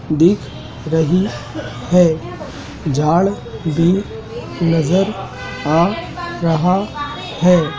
दिख रही है झाड़ भी नज़र आ रहा है।